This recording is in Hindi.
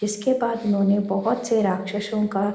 इसके बाद उन्‍होंने बहोत से राक्षसों का --